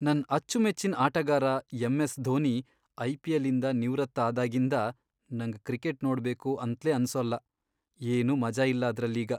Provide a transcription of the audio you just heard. ನನ್ ಅಚ್ಚುಮೆಚ್ಚಿನ್ ಆಟಗಾರ ಎಂ.ಎಸ್.ಧೋನಿ ಐ.ಪಿ.ಎಲ್.ಇಂದ ನಿವೃತ್ತ ಆದಾಗಿಂದ, ನಂಗ್ ಕ್ರಿಕೆಟ್ ನೋಡ್ಬೇಕು ಅಂತ್ಲೇ ಅನ್ಸೋಲ್ಲ.. ಏನೂ ಮಜಾ ಇಲ್ಲ ಅದ್ರಲ್ಲೀಗ.